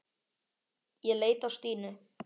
Ég leit á Stínu.